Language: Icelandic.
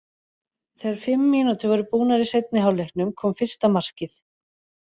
Þegar fimm mínútur voru búnar í seinni hálfleiknum kom fyrsta markið.